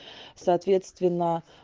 соответственно